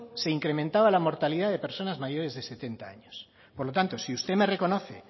se incrementaba la mortalidad de personas mayores de setenta años por lo tanto si usted me reconoce